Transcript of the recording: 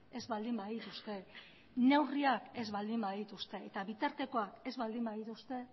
ez baldin badituzte neurriak ez baldin badituzte eta bitartekoak ez baldin badituzte